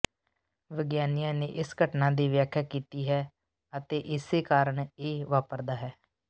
ਵਿਗਿਆਨੀਆਂ ਨੇ ਇਸ ਘਟਨਾ ਦੀ ਵਿਆਖਿਆ ਕੀਤੀ ਹੈ ਅਤੇ ਇਸੇ ਕਾਰਨ ਇਹ ਵਾਪਰਦਾ ਹੈ